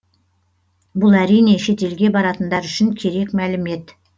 бұл әрине шетелге баратындар үшін керек мәлімет